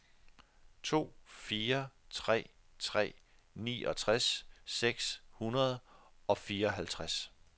to fire tre tre niogtres seks hundrede og fireoghalvtreds